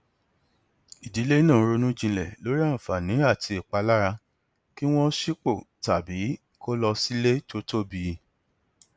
ìdílé náà ronú jinlẹ lórí àǹfààní àti ìpalára kí wọn sípò tàbí kó lọ sí ilé tó tóbi